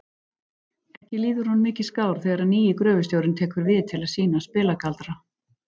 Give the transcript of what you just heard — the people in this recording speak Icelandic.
Ekki líður honum mikið skár þegar nýi gröfustjórinn tekur til við að sýna spilagaldra.